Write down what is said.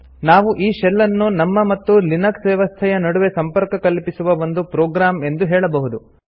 ನಾವು ಈ ಶೆಲ್ ಅನ್ನು ನಮ್ಮ ಮತ್ತು ಲಿನಕ್ಸ್ ವ್ಯವಸ್ಥೆಯ ನಡುವೆ ಸಂಪರ್ಕ ಕಲ್ಪಿಸುವ ಒಂದು ಪ್ರೊಗ್ರಾಮ್ ಎಂದು ಹೇಳಬಹುದು